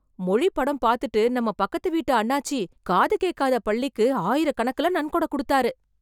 மொழி படம் பாத்துட்டு நம்ம பக்கத்துக்கு வீட்டு அண்ணாச்சி காத்து கேக்காத பள்ளிக்கு ஆயிரக்கணக்குல நன்கொடை கொடுத்தார்.